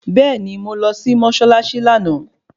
Bẹ́ẹ̀ni mo lọ sí mọ́ṣáláṣí lánàá